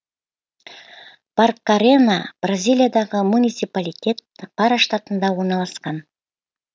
баркарена бразилиядағы муниципалитет пара штатында орналасқан